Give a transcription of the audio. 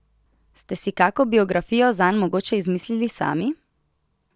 Ste si kako biografijo zanj mogoče izmislili sami?